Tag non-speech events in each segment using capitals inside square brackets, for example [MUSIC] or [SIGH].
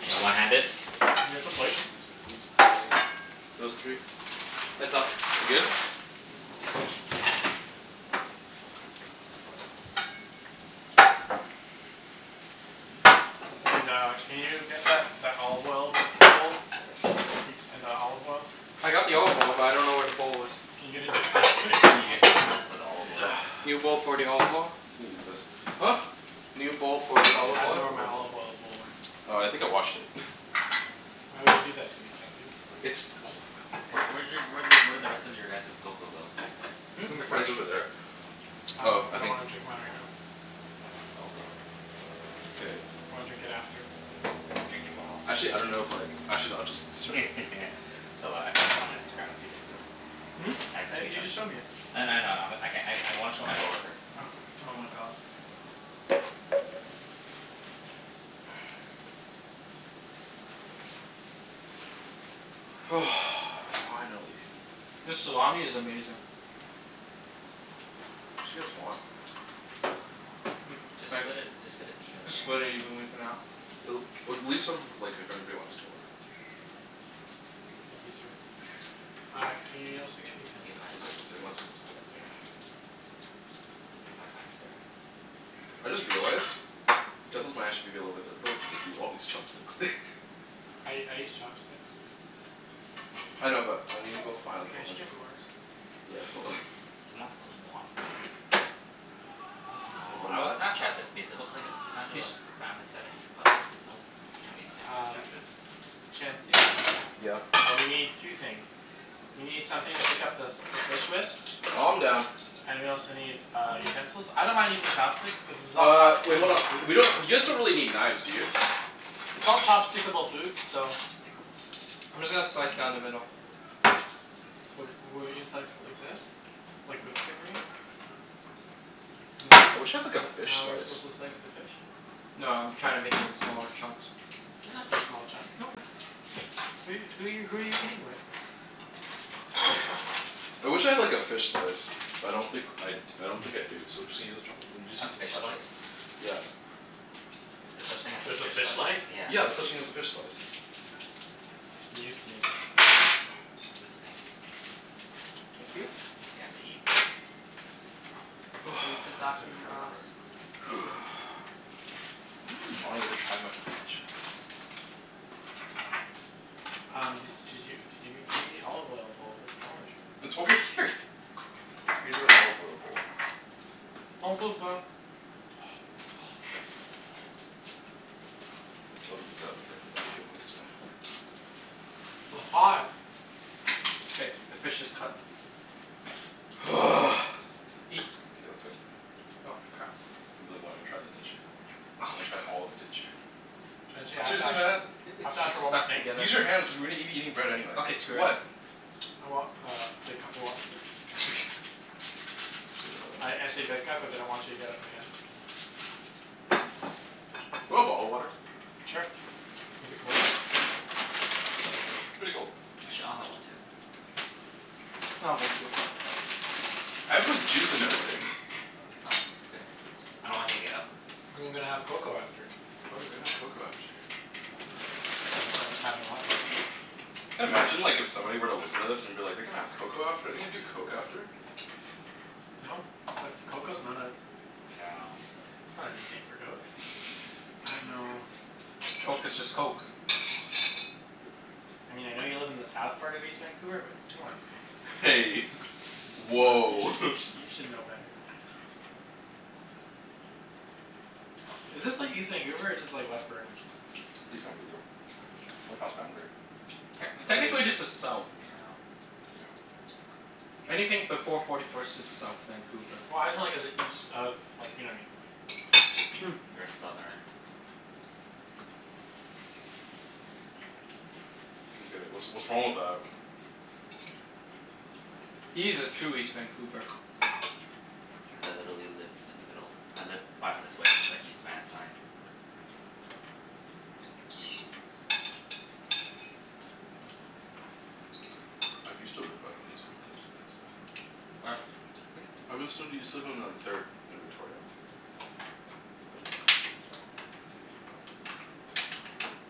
You gonna one hand it? Can I get some K, plates? use these three. Those three. Heads up. We good? And uh, can you get that that olive oil bowl? [LAUGHS] And the olive oil? I got the olive oil, but I don't know where the bowl is. Can you get a new bowl for me? Can you get a new bowl for the olive oil? [NOISE] New bowl for the olive oil? You can use this. Huh? New bowl for the You need olive I a bowl dunno oil. where for the my olive oil. olive oil bowl went. Oh, I think I washed it. [LAUGHS] Why would you do that to me, Chancey? It's olive oil, Wh- where okay? did y- where did where did the rest of your guys's cocoa go? Hmm? It's It's in in the the fridge. Mine's fridge. over there. Oh. I Oh, lik- I I don't think wanna drink mine right now. Cocoa. K. I wanna drink it after. Drink it while you're Actually I don't know if eating. like, actually no, I'll just [LAUGHS] serve I it. saw th- I saw this on Instagram like, two days ago. Hmm? I- you just showed me [INAUDIBLE] it. I kn- I know, I know. I'm I can- I I wanna show my coworker. Oh. Oh my god. [NOISE] [NOISE] Finally. This salami is amazing. We should get some more. [NOISE] Mm, Just thanks. split it, just put it evenly Just split it I guess. evenly for now. L- well, leave some like, if anybody wants to more. Thank you, sir. Uh, can y- you also Thank get you, utensils, my One please? fine second, one sir. second, one second. Yeah. [NOISE] Thank you, my kind sir. I just realized utensils might actually be a little bit difficult because we all use chopsticks. [LAUGHS] I I use chopsticks. I know, but I need to go find Can like a I whole actually bunch of get more? forks. Yeah, hold on. He wants a lot more. Thank you, sir. Aw, I would [INAUDIBLE] Snapchat this because it looks like it's kind of a Cheese? family setting, but nope. Can't we can't Um Snapchat this. Chancey? Yeah? Uh, we need two things. We need something to pick up the s- the fish with. Calm down. And we also need, uh, utensils. I don't mind using chopsticks cuz this is all Uh, wait, hold chopstick-able on. food. We don't, you guys don't really need knives, do you? It's all [NOISE] chopstick-able food, so Chopstickable food. I'm just gonna slice down the middle. W- wouldn't you slice it like this? Like, with the grain? Isn't I that wish I had like isn't a that fish how you're supposed slice. to slice the fish? No, I'm trying to make it into smaller chunks. They don't have to be small chunk. Okay. Who who are you who are you who are you eating with? [LAUGHS] [LAUGHS] I wish I had like a fish slice. But I don't think I d- I don't think I do, so just use a chopst- just A use a fish spatula. slice? Yeah. There's such thing as a There's a fish fish slice? slice? Yeah. Yeah, there's such thing as a fish slice. News to me. Ah, thanks. Thank you. Yeah, I'm gonna eat. [NOISE] [INAUDIBLE] [INAUDIBLE] [NOISE] Finally Mmm. get to try my focaccia. Um, d- did you d- give me gimme the olive oil bowl? Wrong with you? It's over here. Use an olive oil bowl. [INAUDIBLE] I'll leave this out for anybody who wants to W- hot. K, the fish is cut. [NOISE] [NOISE] [NOISE] Eat. K, let's go. Oh f- crap. You really wanted to try that, didn't you? Yep. Oh You my wanted to try all god. of it, didn't you? [NOISE] [NOISE] Chancey, I have to Seriously Mat? ask I- I have it's to ask just for one more stuck thing. together. Use your hands cuz we're gonna be eating bread anyways. Okay, screw it. What? I want uh, a big cup of water, please? [LAUGHS] Okay, hold I I on. say big cup cuz I don't want you to get up again. You want bottled water? [NOISE] Sure. Is it cold? Pretty cold. Actually, I'll have one too. [NOISE] I'll have one too. I have like juice and everything. [LAUGHS] No, it's okay. I don't want you to get up. I'm gonna have cocoa after. Oh right, we're gonna have cocoa after. So that's why I'm just having water. Can imagine like, if somebody were to listen to this, and be like, "They're gonna have cocoa after? They're gonna do coke after?" No. That's cocoa's not a Yeah. that's not anything for coke. [NOISE] I dunno [LAUGHS] Coke is just coke. Hey. [LAUGHS] You Woah! should you [LAUGHS] sh- you should know better. [NOISE] Is this like, east Vancouver, or is this like, west Burnaby? East Vancouver. We're past Boundary. [NOISE] Technically, yeah. Technically this is south. Yeah. [NOISE] I don't Anything before forty first is south Vancouver. [NOISE] Well, I was just wonder cuz it's east of, you know what I mean? You're a southerner. get it. What's what's wrong with that? [NOISE] He's a true east Vancouver. [NOISE] Cuz I literally live in the [NOISE] middle. I live five minutes away from the East Van sign. [NOISE] [NOISE] I used to live five minutes away from the East Van sign. [NOISE] Where? [NOISE] Hmm? I was so, used to live on like third and Victoria. [NOISE] I [NOISE] [NOISE]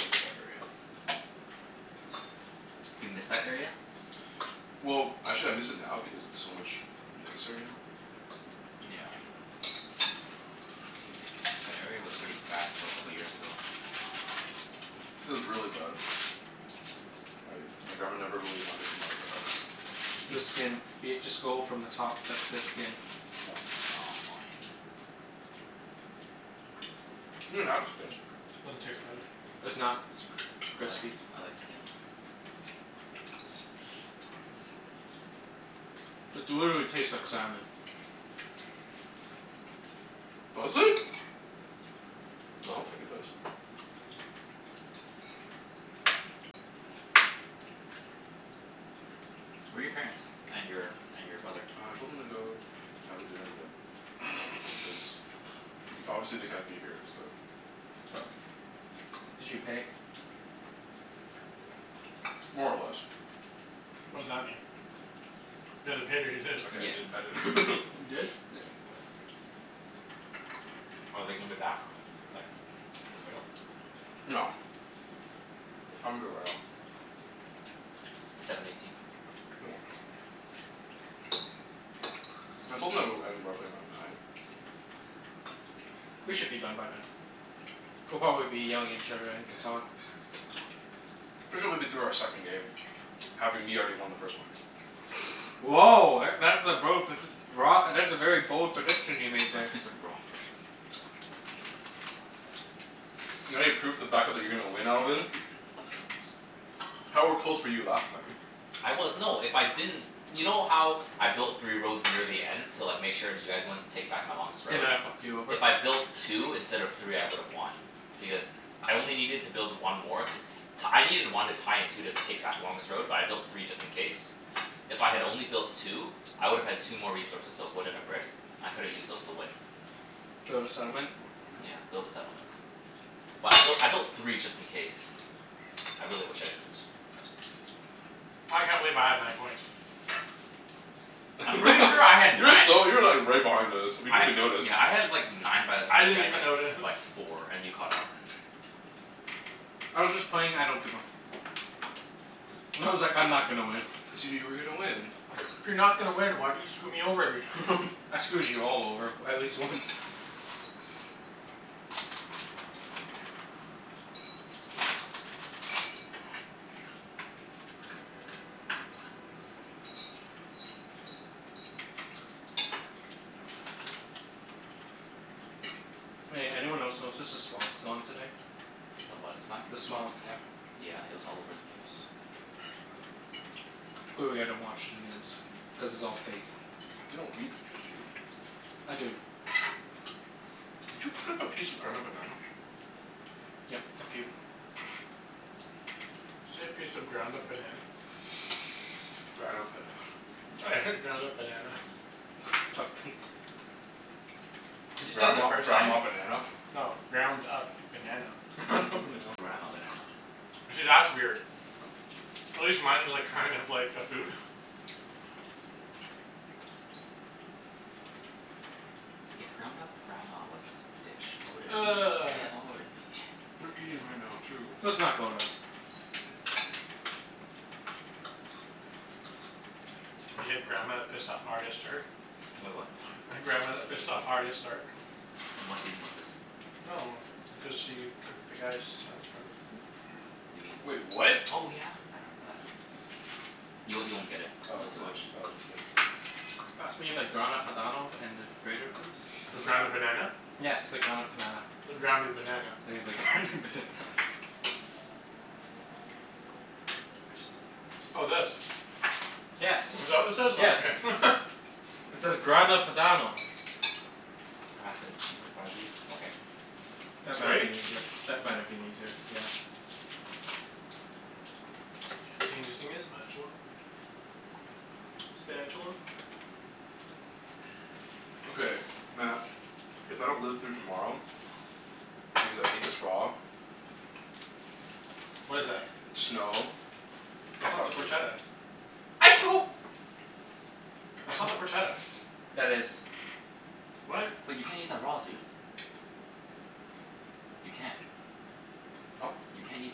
miss that area. Do you miss that area? Well, actually I miss it now because it's so much nicer now. [NOISE] Yeah. Like, that area was pretty bad until a couple years ago. [NOISE] It was really bad. Like, my grandma never really [NOISE] wanted to come out of the [NOISE] The skin. house. [LAUGHS] [LAUGHS] Be it, just go from the top. That's the [NOISE] skin. [NOISE] Yeah. Aw, fine. [NOISE] You can have the skin. [NOISE] Doesn't taste good. [NOISE] It's not [NOISE] I like crispy. I like skin. [NOISE] It [NOISE] literally tastes like salmon. Mmm. [NOISE] Does it? [NOISE] I Little don't think bit. it does. [NOISE] [NOISE] [NOISE] [NOISE] Where are your parents? And your and your brother? I told them to go and have a dinner today, cuz y- obviously they can't [LAUGHS] be here, so [NOISE] Did you pay? [NOISE] More or less. [NOISE] [NOISE] What does that mean? You either paid or you [NOISE] didn't. [NOISE] Okay, Yeah, I didn't. I an- didn't. You [LAUGHS] didn't? Yeah, I didn't pay. [NOISE] Are they gonna be back, like, in the middle? No. [NOISE] What time is it right now? [NOISE] Seven [NOISE] eighteen. [NOISE] They won't be. [NOISE] I told them that it would end roughly around nine. [NOISE] We should be done by then. [NOISE] We'll probably be yelling at each other in Catan. [NOISE] We should be be through our second game. [NOISE] Having me already won the first one. [LAUGHS] Woah, e- that's a bro predic- broa- [NOISE] that's a very bold prediction you made I thought there. you said raw at first. [LAUGHS] [NOISE] Not any proof to back up that you're going to win, Alvin? [NOISE] How are close were you last time? I was, no, if I didn't You know how I built three roads near the end? To like, make sure you guys wouldn't take back my [NOISE] longest They road? might have fucked you over. If I built two instead of three I would have won. Because I only needed to build one more to t- I needed one to tie and two to take back the longest road, but I built [NOISE] three just in case. If I had only built two, I would have had two more resources. So a wood and a brick. I could've used those to win. [NOISE] Build a settlement? Yeah, build a settlement. But I built I built three just in [NOISE] case. I really wish I didn't. [NOISE] I can't believe I had nine points. [NOISE] [NOISE] [LAUGHS] I'm pretty sure I had You were nine so, you were like right behind us. We I didn't ha- even notice. yeah, I had like nine by the I time you didn't had even like f- like notice. four, [NOISE] and you caught up. [NOISE] I was just playing I don't give a f- I was like, "I'm not gonna win." [NOISE] Assuming you were gonna win? [NOISE] If you're not gonna win, why do you screw me over every time? [NOISE] [LAUGHS] I screwed you all over at least once. [NOISE] [NOISE] Hey, anyone else notice s- the smog's gone today? [NOISE] [NOISE] [NOISE] [NOISE] The what is gone? The smog, yeah. Yeah, it was all over the news. [NOISE] Clearly I don't watch the news. Cuz it's all fake. You don't read the news, do you? I do. [NOISE] Did you cut up a piece of Grana Padano? [NOISE] Yep, a few. [NOISE] [NOISE] Say piece of ground Grana up Pada- banana? [LAUGHS] I heard ground up banana. [NOISE] [LAUGHS] [INAUDIBLE] [NOISE] Cuz you said it the Grandma first time. grandma banana? No. Ground up banana. [NOISE] [LAUGHS] Grandma banana. See, that's weird. [NOISE] At least mine was like, kind of like a food. [LAUGHS] [NOISE] If ground up grandma was a s- dish, [NOISE] what would it be? [NOISE] [NOISE] What would it be? [NOISE] [NOISE] We're eating right now, too. [NOISE] Let's not go rub. [NOISE] We had grandma that pissed off Arya Stark? [NOISE] Wait, What? [NOISE] The grandma that pissed off Arya Stark. In what season was this? No no no. Because she cooked the guy's sons, remember? You mean, Wait, what? oh yeah! I remember that. Y- you won't get it Oh unless is you it watch oh, [NOISE] it's skin [INAUDIBLE] Pass me the Grana Padano and the grater please? The ground up Grana Padan- banana? Yes, the ground up panana. The grounded banana. Yeah, the ground up banana. [NOISE] Oh, this? [INAUDIBLE] Yes. Is that what this is? Oh Yes. okay. [LAUGHS] It says Grana Padano. [NOISE] Can you pass me the cheese in front of you? Okay. That might been [INAUDIBLE] easier. That might have been easier, yeah. [NOISE] [INAUDIBLE] the spatula? [NOISE] [NOISE] Spatula. Okay, Mat, if I don't live through tomorrow because I ate this raw What is that? just know [NOISE] It's not the fuck you. porchetta? [NOISE] I don't That's not the porchetta. That is. What? Wait, you can't eat that raw, dude. You can't. Huh? You can't eat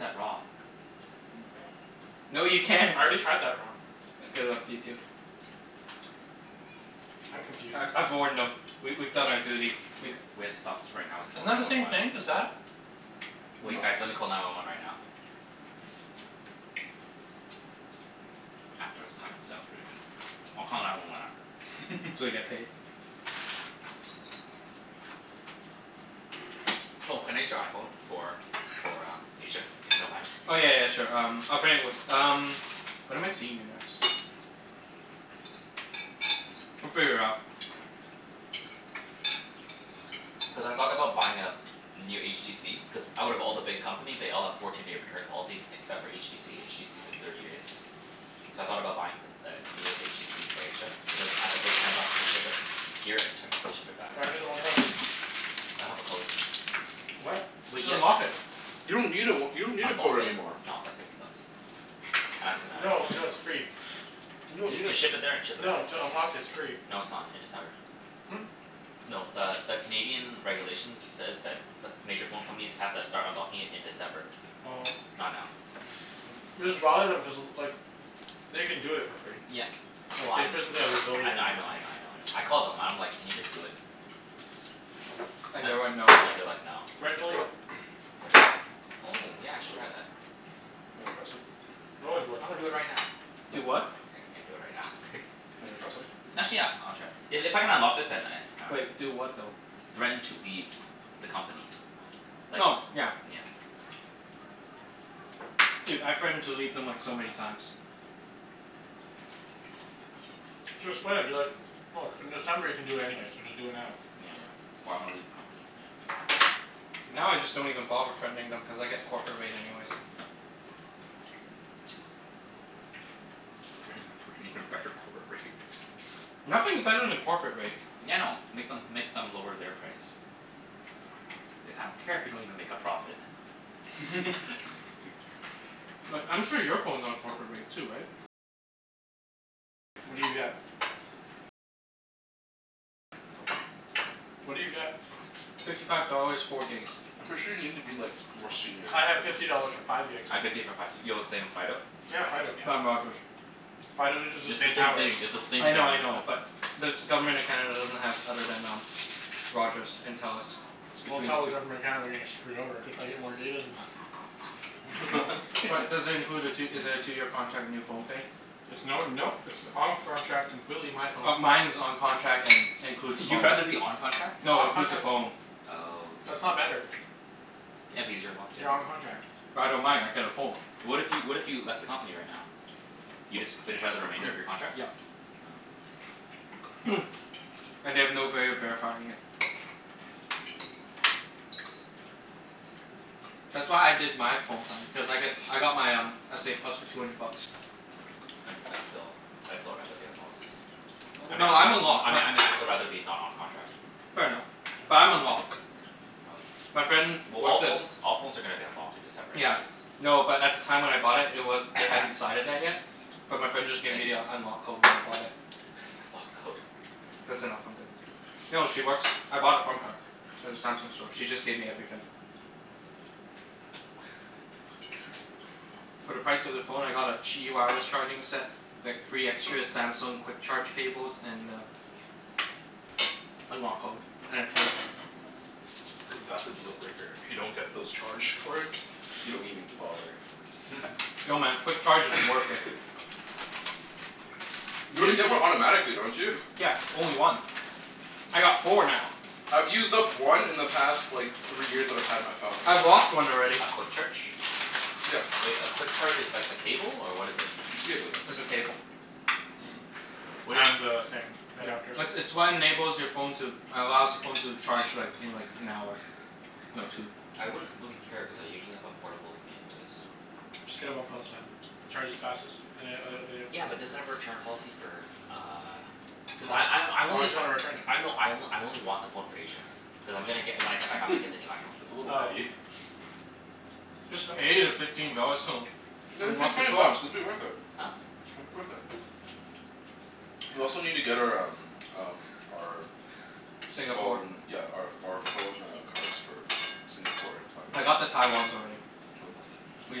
that raw. Yeah, you can. No, you can't. I already tried that raw. Good luck to you, too. I'm confused. I I've warned [NOISE] No. [NOISE] them. We we've done our duty. We We h- we have to stop this right now and Isn't call that nine the one same one. thing as that? Wait guys, No. let me call nine one one right now. After the salmon. The salmon's pretty good. I'll call nine one one after. [NOISE] So we get paid. [LAUGHS] [NOISE] [NOISE] Oh, can I use your iPhone for for uh, Asia, if you don't mind? [NOISE] Oh, yeah yeah yeah, sure. Um, I'll bring it with um When am I seeing you next? [NOISE] [NOISE] We'll Mm, figure it out. [NOISE] yeah. [NOISE] Cuz I thought about buying a new HTC Cuz out of all the big company they all have fourteen day return policies except for HTC. HTC's a [NOISE] thirty days. [NOISE] So I thought about buying th- the newest HTC for Asia. But then I have to pay ten bucks to ship it here and ten bucks to ship it back. Why don't you do the one plus? I don't have a code. [NOISE] What? Wait, Just ye- unlock it. You don't need a w- you don't need a Unlock code it? anymore. No, it's like fifty bucks. I'm gonna No, no, it's free. You don- To you to d- ship it there and ship it back? No, to unlock it, it's free. No, it's not. In December. Hmm? No, the the Canadian regulations says that the ph- major phone companies have to start unlocking it in December. Oh. Not now. Just bother them, cuz like they can do it for free. Yeah, well Like, I they kn- physically have the I kn- I ability to know, I know, I [LAUGHS] know, I know. I called them and I'm like, "Can you just do it?" [NOISE] And And they went, "No"? yeah, they're like, "No." [NOISE] [NOISE] Threaten to leave. [NOISE] Threaten to leave? Oh, yeah I should try that. Wanna try a sip? [NOISE] They always will. I'm gonna do it right now. [NOISE] [INAUDIBLE] Do what? What? I can't do it right now. You wanna try [LAUGHS] some? Actually, yeah. I wanna try. I- if I can unlock this then I, [NOISE] I dunno. Wait. Do what, though? Threaten to leave the company. [NOISE] Like, Oh, yeah. yeah. [NOISE] Dude, I threatened to leave them like, so many times. [NOISE] Just play it, be like, "Look, in December you can do it anyways, so just do it now." [NOISE] Yeah. "Or I'm gonna leave the company." Yeah, okay. Now, I just don't even bother threatening them cuz I get corporate rate anyways. [NOISE] Threaten them for an even better corporate rate. [NOISE] [NOISE] Nothing's better than corporate rate. Yeah, I know. Make them make them lower their price. Like, I don't care if you don't even make a profit. [NOISE] [LAUGHS] [LAUGHS] [NOISE] Like, I'm sure your phone's on corporate rate too, right? Yeah. No. What do you get? [NOISE] Fifty five dollars, four gigs. I'm pretty sure you need to be like, more [NOISE] senior I have to get fifty it. dollars for five [NOISE] gigs. I have fifty for five too. Yo, the same, Fido? Yeah, Yeah, Fido. [NOISE] I'm yeah. Rogers. Fido uses It's the the same same thing. towers. It's the same I thing, know, I know, yeah. but the Government of Canada doesn't have other than um [NOISE] Rogers and Telus. [NOISE] It's Well, between tell the the two. Government of Canada they're getting screwed over, cuz I get more data than them. [LAUGHS] But does it include a tw- is it [NOISE] a [NOISE] two year contract, new phone thing? It's no, no. It's off contract, completely my phone. Oh, mine's [NOISE] on contract and [LAUGHS] includes a phone. You'd rather be on contract? No, includes a phone. Oh, I That's see. not better. Yeah, because you're locked in. You're on contract. But I don't mind. I get a phone. What if you, what if you left the company right now? You just finish out the remainder of [NOISE] your contracts? Yeah. Oh. [NOISE] And they have no vay of verifying it. [NOISE] [NOISE] That's why I did my phone plan. Cuz I got I got my um, s a plus for two hundred bucks. [NOISE] I'd I'd still, I'd still rather be unlocked. I mean No, I I'm mean I unlocked. My mean I mean I'd still rather be not on contract. Fair enough. [NOISE] But I'm unlocked. Oh. [NOISE] My friend Well, all works at phones all phones are gonna be unlocked in [NOISE] December Yeah. anyways. No, but at the time when I bought it, it wa- they hadn't [NOISE] decided that yet. But my friend just gave Thank me you. the unlock code when I bought it. [NOISE] Lock code. That's enough. I'm good. No, she works, I bought it from her. At the Samsung store. She just gave me everything. [NOISE] [NOISE] For the price of the phone I got a [INAUDIBLE] charging set. Like, three extra Samsung quick charge cables and a unlock code. And a case. Cuz that's the deal breaker. If you don't [NOISE] get those charge cords you don't even g- bother. [NOISE] [LAUGHS] [LAUGHS] [NOISE] No man, quick charge is [LAUGHS] worth it. [NOISE] You You already d- get one automatically, don't you? Yeah, only one. I got four now. I've used up one in the past like three years that I've had my phone. I've lost one already. A quick charge? Yeah. Wait, a quick charge is like a cable, or what is it? It's a cable, yeah. It's a cable. [NOISE] [NOISE] Wait And the thing. Yeah. Adapter. It's it's what enables your phone to allows the phone to charge like, in like, an hour. No, two. [NOISE] I wouldn't really care cuz I usually have a portable with me anyways. [NOISE] [NOISE] Just get a one plus, man. It charges fastest than an- oth- other Yeah, but does it have a return policy for uh Cuz I I I Why only would you wanna return it? I know, I o- I only want the phone for Asia. Cuz I'm gonna get, when I come back [LAUGHS] I'm gonna get the new iPhone. That's a little Oh. petty. [NOISE] Just [NOISE] pay the fifteen dollars to [NOISE] Yeah, just pay unlock your twenty phone. bucks. It'll be worth it. Huh? It'll be worth it. [NOISE] We also need to get our um um our [NOISE] Singapore. phone, yeah, our ph- our phone uh cards. For Singapore and I got the Taiwan. Taiwans already. [INAUDIBLE] We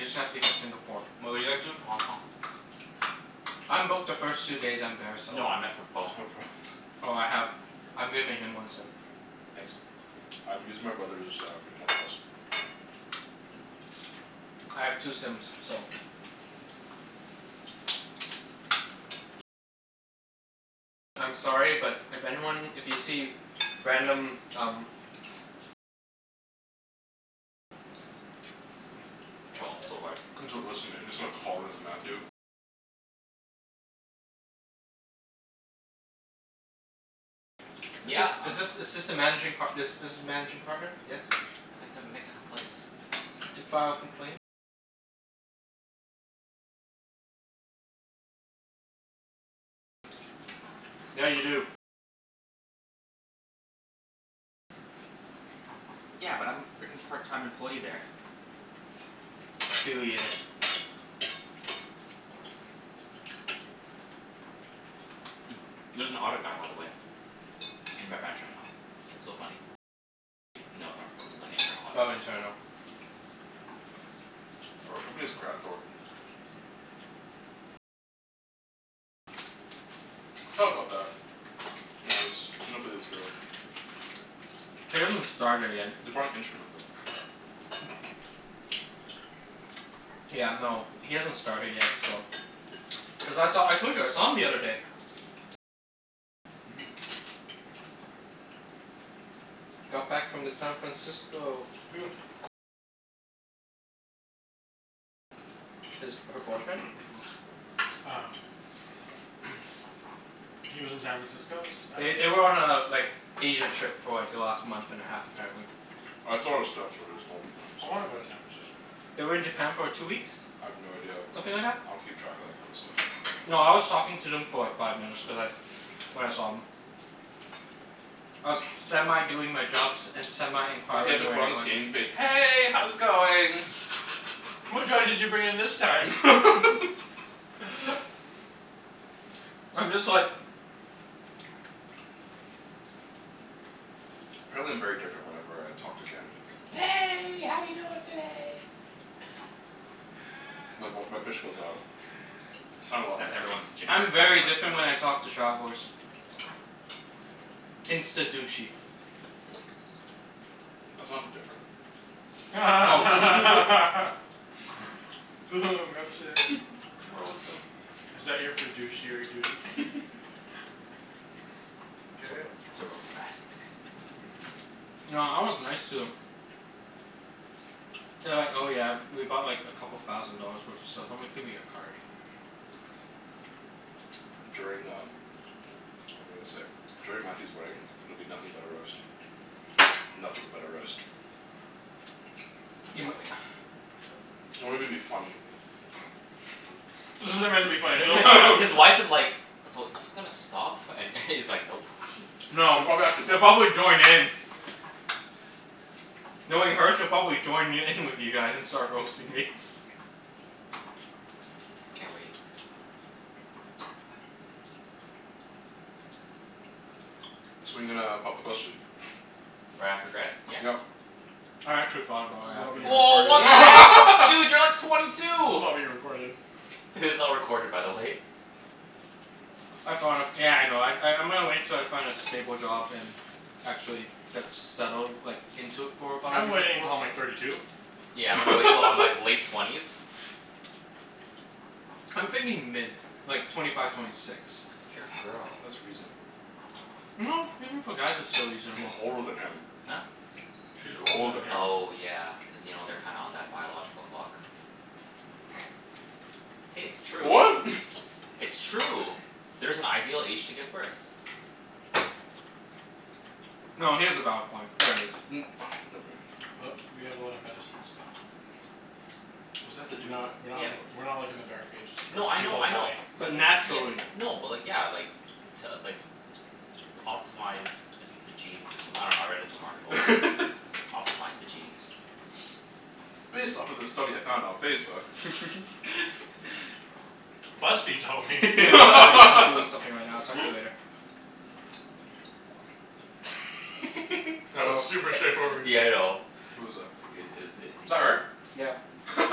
just have to get Singapore. But what are you guys doing for Hong Kong? [NOISE] I'm booked the first two days I'm there, so No, I meant for For phone. phones. Oh, I have, I'm giving him one sim. Nice. I'm using my brother's um one plus. [NOISE] I have two sims, so [NOISE] I'm sorry, but if anyone, if you see random, um [NOISE] Troll them so hard. Is th- Yeah, um is this is this the managing par- this this is managing partner? Yes? I'd like to make a complaint. To file a complaint Yeah, you do. Yeah, but I'm frickin' part time employee there. Affiliated. [NOISE] [NOISE] Mm, there's an audit guy, by the way. [NOISE] In my branch right now. [NOISE] Oh, internal. [NOISE] For our company it's Graham Thornton. I thought about that. [INAUDIBLE] [NOISE] He hasn't started yet. They're probably interning with him. [LAUGHS] [NOISE] [LAUGHS] [NOISE] Yeah, no, he hasn't started yet, so Cuz I saw, I told you I saw him the other day. Mhm. Got back from the San Francisco. Who? His, her boyfriend. [NOISE] Ah. [NOISE] He lives in San Francisco? Is They th- they were on a like, Asia trip for like, the last month and a half apparently. I wanna go to [INAUDIBLE] San Francisco. [NOISE] They were in Japan for two weeks. I have no idea. I Something like don't that. I don't keep track of that kind of stuff. No, I was talking to them for like, five minutes cuz I when I saw 'em. [NOISE] I was semi doing my jobs [NOISE] and semi He had to inquiring where put they on his went. [NOISE] game face. "Hey, how's it going?" [LAUGHS] What drugs did you bring in this time? [LAUGHS] [LAUGHS] [NOISE] I'm just like [NOISE] Apparently I'm very different whenever I talk to candidates. [NOISE] "Hey, how you doing today?" My voi- my pitch goes up. I sound a lot That's nicer. everyone's [NOISE] I'm generic very different when customer I [NOISE] service. talk to travelers. [NOISE] Insta douchey. [NOISE] That's not different. [NOISE] [LAUGHS] [INAUDIBLE] Oh Is that your fiduciary duty? f- [LAUGHS] [NOISE] To Get it? ro- to roast Mat. [NOISE] No, I was nice to them. [NOISE] [LAUGHS] [NOISE] [LAUGHS] [NOISE] They were like, "Oh yeah, we bought like, a couple thousand dollars worth of stuff." I'm like, "Give me your card." During um, what was I gonna say? During Mathew's wedding, it'll be nothing but a roast. Nothing but a roast. [NOISE] [NOISE] [NOISE] I You mi- can't wait. [NOISE] It won't even be funny. [NOISE] [LAUGHS] [LAUGHS] This isn't meant to be funny His [INAUDIBLE] wife [LAUGHS] is like, "So, is this gonna stop?" And [LAUGHS] he's like, "Nope." [NOISE] No, She probably actually she'll would. probably join in. [NOISE] Knowing her, she'll probably join y- in with you guys and start roasting me. [NOISE] Can't wait. [NOISE] So when are you gonna pop the question? [NOISE] Right after grad, yeah? Yep. I actually thought [NOISE] about This is right all after being grad. Woah, what the heck? [LAUGHS] Dude! You're like twenty This two! is all being recorded. This is all recorded, by the way. [NOISE] I thought of, yeah, I know. I I'm gonna wait till I find a stable job and actually [NOISE] get settled like, into it for [NOISE] about a I'm year waiting before. until I'm like thirty two. Yeah, I'm gonna wait til I'm like [LAUGHS] [LAUGHS] late [LAUGHS] twenties. I'm thinking mid. Like, twenty five, twenty six. That's if [NOISE] you're a girl. That's reasonable. [NOISE] No, even for guys it's still She's reasonable. older than him. Huh? [NOISE] [NOISE] She's She's older older than than him. him. Oh yeah, cuz you know, they're kinda on that biological clock. Hey, it's [NOISE] true. What? [LAUGHS] It's true. There's an ideal age to give birth. [NOISE] [NOISE] No, he has a valid point. There is. Mm, [NOISE] But we never have a lot of mind. medicine and stuff. [NOISE] What does that We're have to do with not we're not Yeah, like w- we're not like in the dark ages No, where I know, people I know. die. [NOISE] But Ye- naturally. n- no, but like, yeah, like to like optimize the the genes or someth- I dunno, I read it in some article. it? [NOISE] [LAUGHS] Optimize the genes. Based off of this study I found on Facebook. [LAUGHS] [NOISE] BuzzFeed told me. [NOISE] Hey [LAUGHS] babe. BuzzFeed I'm told I'm doing me. [LAUGHS] something right now. I'll talk to you later. [NOISE] [NOISE] That was Oh. super [LAUGHS] straightforward. Yeah, I know. Who was that? I- it is Was i- that her? Yeah. [LAUGHS]